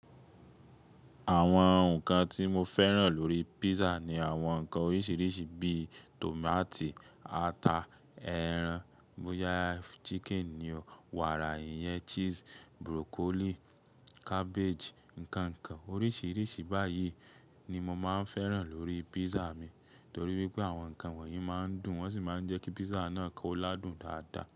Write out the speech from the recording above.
Àwọn nǹkan tí mo fẹ́ràn lórí pízzà ni àwọn nǹkan oríṣiríṣi bíi tòmáto, ata, ẹran, bóyá chicken ni o, wàrà, ìyẹ̀n cheese, broccoli, cabbage. Ǹkankan oríṣiríṣi báyìí ni mo máa ń fẹ́ràn lórí pízza mi torí wípé àwọn nǹkan wọ̀nyí máa ń dùn, wọ́n sì máa ń jẹ́ kí pízzà náà kó ládùn dáadáa.